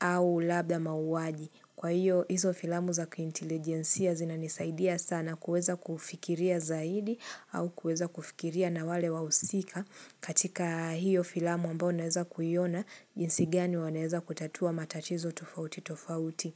au labda mauwaji. Kwa hiyo hizo filamu za kiintelijensia zina nisaidia sana kuweza kufikiria zaidi au kuweza kufikiria na wale wahusika katika hiyo filamu ambayo ninaweza kuiona jinsi gani wanaweza kutatua matatizo tofauti tofauti.